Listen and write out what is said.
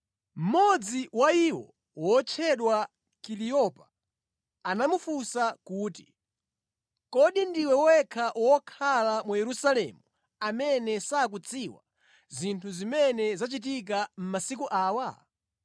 Mmodzi wa iwo wotchedwa Kaliyopa anamufunsa kuti, “Kodi ndiwe wekha wokhala mu Yerusalemu amene sukudziwa zinthu zimene zachitika mʼmasiku awa?”